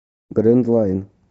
грэнд лайн